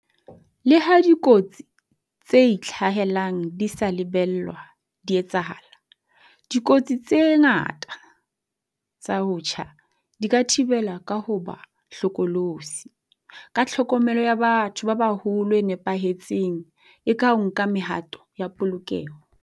Leha dikotsi tse itlhahelang di sa lebellwa di etsahala, dikotsi tse ngata tsa ho tjha di ka thibelwa ka ho ba hlokolosi, ka tlhokomelo ya batho ba baholo e nepahetseng le ka ho nka mehato ya polokeho.